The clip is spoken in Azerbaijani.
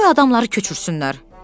Onda qoy adamları köçürsünlər.